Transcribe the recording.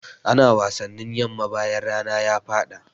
Ana wasannin yamma bayan rana ya faɗa.